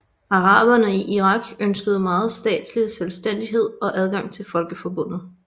Araberne i Irak ønskede mere statslig selvstændighed og adgang til Folkeforbundet